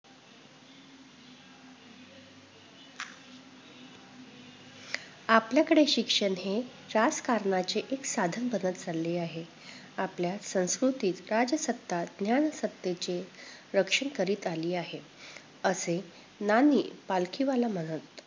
आपल्याकडे शिक्षण हे राजकारणाचे एक साधन बनत चालले आहे. आपल्या संस्कृतीत राजसत्ता ज्ञानसत्तेचे रक्षण करीत आली आहे, असे ना. नी. पालखीवाला म्हणत.